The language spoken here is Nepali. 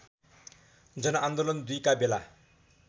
जनआन्दोलन २ का बेला